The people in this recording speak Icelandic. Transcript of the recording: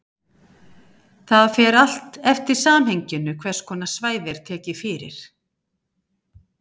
Það fer allt eftir samhenginu hvers konar svæði er tekið fyrir.